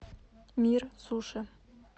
мир суши